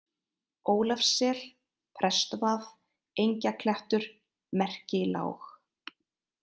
Ólafssel, Prestvað, Engjaklettur, Merkilág